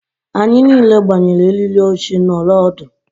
anyị niile gbanyere eriri oche nọrọ ọdụ